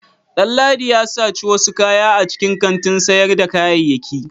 Danladi ya saci wasu kaya a cikin kantin sayarda kayayyaki.